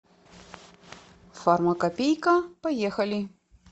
фармакопейка поехали